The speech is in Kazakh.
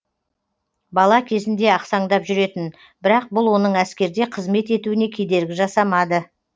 бала кезінде ақсаңдап жүретін бірақ бұл оның әскерде қызмет етуіне кедергі жасамады